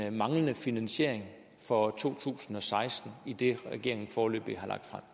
en manglende finansiering for to tusind og seksten i det regeringen foreløbig